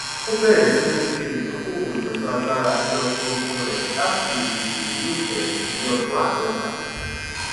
ó bẹrẹ sí ní ṣe ìdokoowo pẹlú agbára ní ọdún ogún rẹ láti lè tete ní ìfeyinti ní ọdún aadọta